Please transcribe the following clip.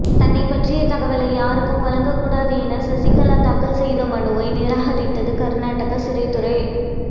தன்னைப் பற்றிய தகவலை யாருக்கும் வழங்க கூடாது என சசிகலா தாக்கல் செய்த மனுவை நிராகரித்தது கர்நாடக சிறைத்துறை